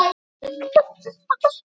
Þess vegna ullaði ég.